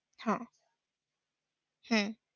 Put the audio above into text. हा. हम्म